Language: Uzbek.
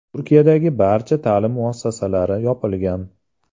Turkiyadagi barcha ta’lim muassasalari yopilgan .